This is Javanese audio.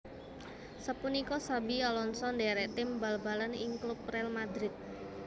Sapunika Xabi Alonso ndhérék tim bal balan ing klub Real Madrid